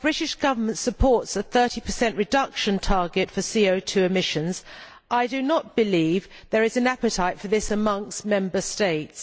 While the British Government supports a 30 reduction target for CO 2 emissions, I do not believe there is an appetite for this amongst Member States.